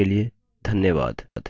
हमसे जुड़ने के लिए धन्यवाद